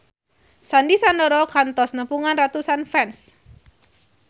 Sandy Sandoro kantos nepungan ratusan fans